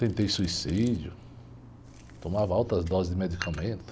Tentei suicídio, tomava altas doses de medicamento.